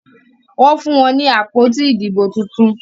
Wón fún wón ní àpótí Ìdìbò títún.